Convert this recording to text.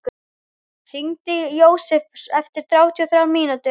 Þórir, hringdu í Jósefus eftir þrjátíu og þrjár mínútur.